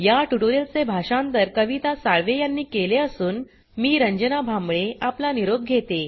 या ट्यूटोरियल चे भाषांतर कविता साळवे यांनी केले असून मी रंजना भांबळे आपला निरोप घेते